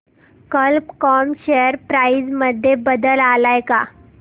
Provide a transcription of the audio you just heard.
कल्प कॉम share price मध्ये बदल आलाय का